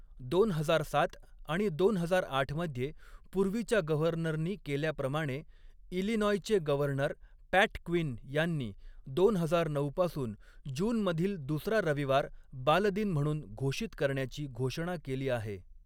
दोन हजार सात आणि दोन हजार आठ मध्ये पूर्वीच्या गव्हर्नरनी केल्याप्रमाणे, इलिनॉयचे गव्हर्नर पॅट क्विन यांनी दोन हजार नऊ पासून जूनमधील दुसरा रविवार बालदिन म्हणून घोषित करण्याची घोषणा केली आहे.